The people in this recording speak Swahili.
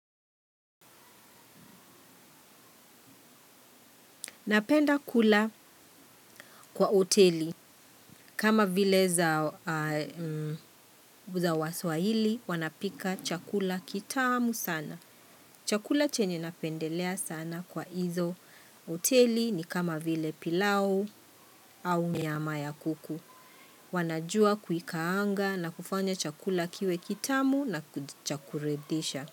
Napenda kula kwa oteli. Kama vile za waswahili wanapika chakula kitamu sana. Chakula chenye napendelea sana kwa hizo oteli ni kama vile pilau au nyama ya kuku. Wanajua kuikaanga na kufanya chakula kiwe kitamu na cha kuridhisha.